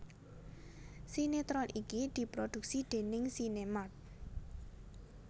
Sinéetron iki diproduksi déning SinemArt